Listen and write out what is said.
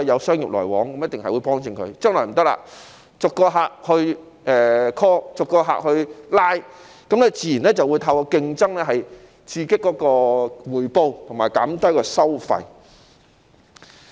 將來不行了，要逐個客 call， 逐個客拉攏，自然便會透過競爭刺激回報和減低收費。